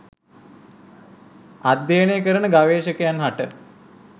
අධ්‍යයනය කරන ගවේශකයින් හට